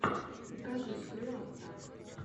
покажи скрю аттак